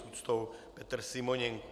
S úctou Petr Simoněnko.